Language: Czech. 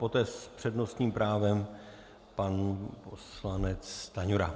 Poté s přednostním právem pan poslanec Stanjura.